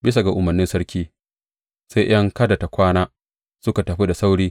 Bisa ga umarnin sarki, sai ’yan kada tă kwana, suka tafi da sauri.